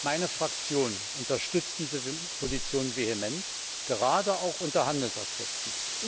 Meine Fraktion unterstützt diese Position vehement, gerade auch unter Handelsaspekten.